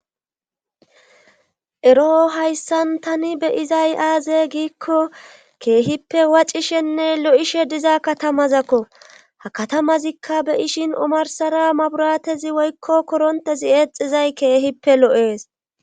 eroo hayssan tani be izay aaze giikko keehippe wacishenne lo7ishe diza katamazakko ha katamazikka beyishin omarsara maburatezi woykko korontezi eexizay keehippe lo7ees